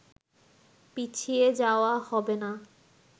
পিছিয়ে যাওয়া হবে না